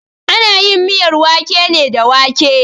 Ana yin miyar wake ne da wake.